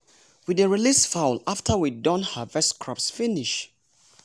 we dey release fowl after we don harvest crops finish.